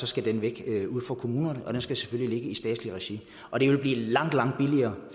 skal den væk fra kommunerne og den skal selvfølgelig ligge i statsligt regi og det vil blive langt langt billigere